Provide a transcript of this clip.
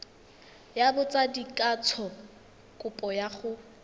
ya botsadikatsho kopo ya go